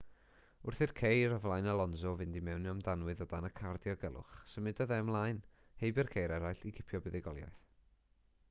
wrth i'r ceir o flaen alonso fynd i mewn am danwydd o dan y car diogelwch symudodd e ymlaen heibio'r ceir eraill i gipio buddugoliaeth